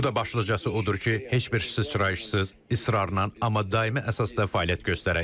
Burda başlıcası odur ki, heç bir sıçrayışsız, israrla, amma daimi əsasda fəaliyyət göstərək.